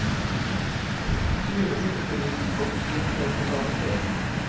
Tyve minutter gikk, og vi sto omtrent på samme sted.